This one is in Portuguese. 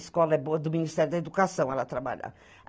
escola é boa, do Ministério da Educação ela trabalhava.